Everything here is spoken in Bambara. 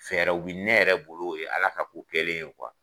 Fɛɛrɛ bɛ ne yɛrɛ bolo o ye ala ka ko kɛlen ye